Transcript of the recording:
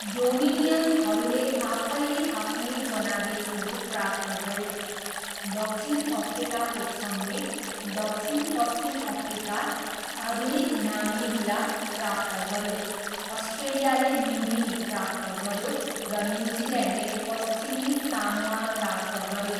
डोमिनियनहरूले आफैले आफ्नै जनादेशहरू प्राप्त गरे, दक्षिण अफ्रिकाको सङ्घले दक्षिण पश्चिम अफ्रिका, आधुनिक नामिबिया प्राप्त गऱ्यो, अस्ट्रेलियाले न्युगिनी प्राप्त गऱ्यो, र न्युजिल्यान्डले पश्चिमी सामोआ प्राप्त गऱ्यो।